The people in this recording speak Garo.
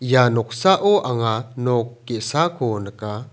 ia noksao anga nok ge·sako nika.